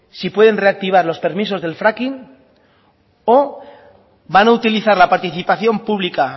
si pueden reactivar los permisos del fracking o van a utilizar la participación pública